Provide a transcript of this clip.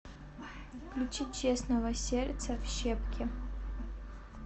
включи честного сердце в щепки